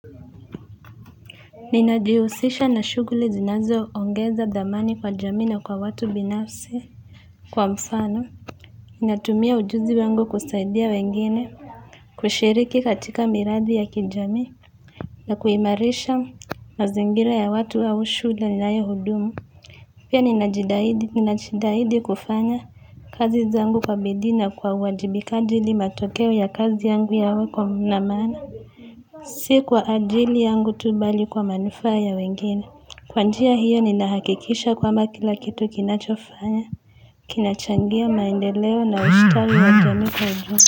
Ninajihusisha na shughuli zinazo ongeza thamani kwa jamii na kwa watu binafsi kwa mfano natumia ujuzi wangu kusaidia wengine kushiriki katika miradi ya kijamii na kuimarisha mazingira ya watu au shule ninayo hudumu pia ninajitahidi ninajitahidi kufanya kazi zangu kwa bidii na kwa uwajibikaji ili matokeo ya kazi yangu yawe kwa na maana si kwa ajili yangu tu bali kwa manufaa ya wengine kwa njia hiyo ninahakikisha kwamba kila kitu kinachofanya kinachangia maendeleo na ustawi wa jamii kwa.